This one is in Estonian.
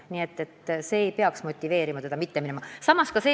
Nii et see peaks motiveerima teda mitte varakult pensionile jääma.